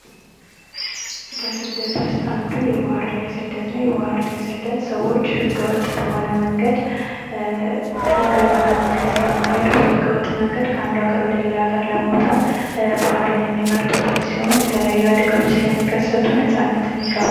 ከስደት ውስጥ አንዱ የባህር ላይ ስደት ነው ። የባህር ላይ ስደት ሰዎች ህገወጥ በሆነ መንገድ ህጋዊ በሆነ መንገድ ስለማይሄዱ በህገወጥ መንገድ ከአንዱ ሀገር ወደ ሌላ ሀገር ለመውጣት ባህርን የሚመርጡበት ሲሆን የተለያዩ አደጋዎች ስለሚከሰቱ ነጻነትን ይጋፋል ።